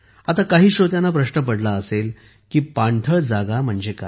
काही श्रोत्यांना प्रश्न पडला असेल की पाणथळ जागा म्हणजे काय